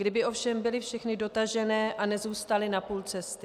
Kdyby ovšem byly všechny dotažené a nezůstaly na půl cesty.